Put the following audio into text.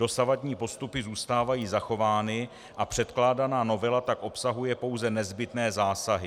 Dosavadní postupy zůstávají zachovány a předkládaná novela tak obsahuje pouze nezbytné zásahy.